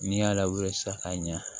N'i y'a lawuli sisan ka ɲa